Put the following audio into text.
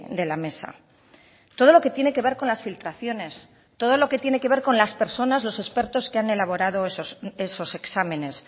de la mesa todo lo que tiene que ver con las filtraciones todo lo que tiene que ver con las personas los expertos que han elaborado esos exámenes